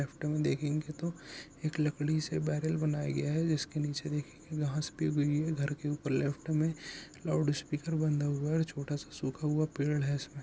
Left में देखेंगे तो एक लकड़ी से बैरल बनाया गया है। जिसके नीचे देखेंगे घर के ऊपर लेफ्ट में लाउडस्पीकर बंधा हुआ हैं और छोटा सा सुखा हुआ पेड़ हैं इसमें।